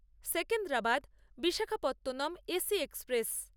Secunderabad Visakhapatnam AC express